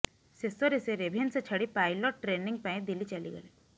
ଶେଷରେ ସେ ରେଭେନସା ଛାଡ଼ି ପାଇଲଟ୍ ଟ୍ରେନିଂ ପାଇଁ ଦିଲ୍ଲୀ ଚାଲିଗଲେ